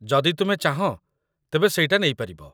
ଯଦି ତୁମେ ଚାହଁ, ତେବେ ସେଇଟା ନେଇପାରିବ।